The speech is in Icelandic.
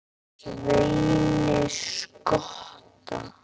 Sveini skotta.